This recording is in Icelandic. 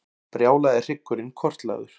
Brjálaði hryggurinn kortlagður